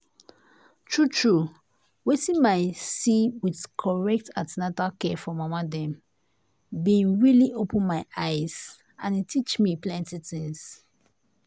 true true wetin my see with correct an ten atal care for mama dem been really open my eye and e teach me plenty things.